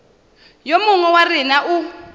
yo mongwe wa rena o